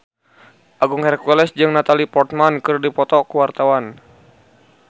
Agung Hercules jeung Natalie Portman keur dipoto ku wartawan